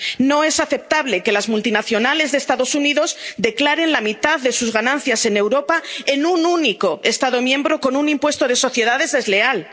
No es aceptable que las multinacionales de los Estados Unidos declaren la mitad de sus ganancias en Europa en un único Estado miembro con un impuesto de sociedades desleal.